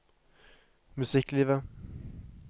musikklivet